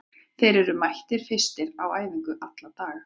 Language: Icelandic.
Þeir eru mættir fyrstir á æfingu alla daga.